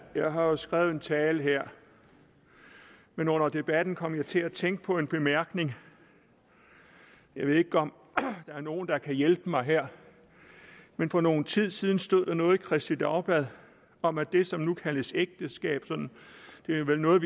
jeg har jo skrevet en tale her men under debatten kom jeg til at tænke på en bemærkning jeg ved ikke om der er nogen der kan hjælpe mig her men for nogen tid siden stod der noget i kristeligt dagblad om at det som nu kaldes ægteskab det er vel noget